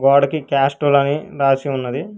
గొడకి Castrol అని రాసి ఉన్నది.